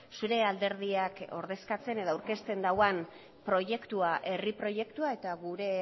zure alderdiak ordezkatzen edo aurkezten dauan proiektua herri proiektua eta gure